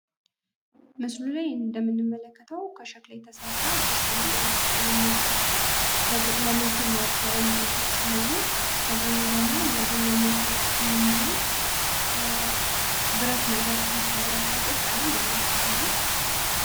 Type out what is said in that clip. ምስሉ ላይ እንደምንመለከተው ከሸክላ የተሰራ ድስት እንመለከታለን። እነዚህም ድስቶች ምግብ ማብሰያ የሚውሉ ሲሆኑ ከጎኑ ደግሞ የቡና መቁያ የሚሆን ብረት ነገር ይታያል ጥቁር ቀለም አላቸው ሁሉም።